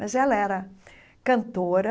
Mas ela era cantora,